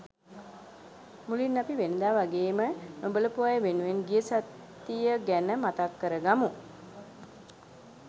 මුලින් අපි වෙනදා වගේම නොබලපු අය වෙනුවෙන් ගිය සතිය ගැන මතක් කර ගමු!